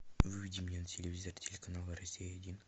выведи мне на телевизор телеканал россия один